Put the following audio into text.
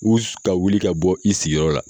U ka wuli ka bɔ i sigiyɔrɔ la